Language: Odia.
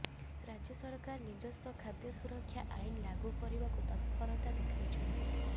ରାଜ୍ୟ ସରକାର ନିଜସ୍ୱ ଖାଦ୍ୟ ସୁରକ୍ଷା ଆଇନ ଲାଗୁ କରିବାକୁ ତତ୍ପରତା ଦେଖାଇଛନ୍ତି